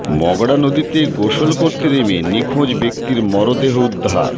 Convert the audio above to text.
মগড়া নদীতে গোসল করতে নেমে নিখোঁজ ব্যক্তির মরদেহ উদ্ধার